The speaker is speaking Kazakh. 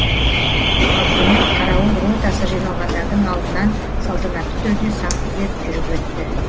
ал құрмет қарауыл ротасы жиналғандардың алдынан салтанатты түрде сап түзеп жүріп өтті